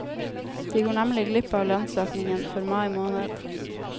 De går nemlig glipp av lønnsøkningen for mai måned.